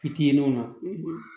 Fitininw na